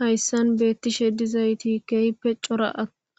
Hayssan beettishe dizayti keehppe cora